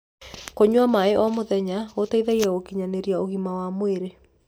kũnyua maĩ o mũthenya gũteithagia gukinyanirĩa ũgima wa mwĩrĩ